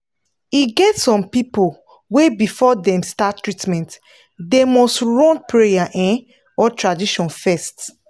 e get some people wey before dem start treatment them nust run prayer um or tradition fes